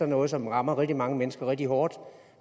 noget som rammer rigtig mange mennesker rigtig hårdt